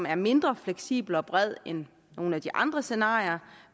er mindre fleksibelt og bredt end nogle af de andre scenarier